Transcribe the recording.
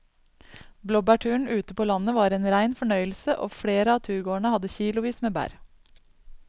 Blåbærturen ute på landet var en rein fornøyelse og flere av turgåerene hadde kilosvis med bær.